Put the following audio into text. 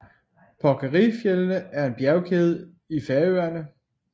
Porkeri fjeldene er en bjergkæde i Færøerne